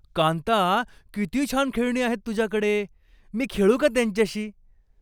कांता, किती छान खेळणी आहेत तुझ्याकडे. मी खेळू का त्यांच्याशी?